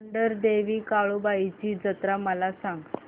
मांढरदेवी काळुबाई ची जत्रा मला सांग